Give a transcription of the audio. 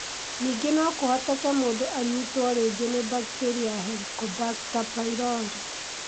Ningĩ no kũhoteke mũndũ anyitwo rĩngĩ nĩ bakteria ya Helicobacter pylori,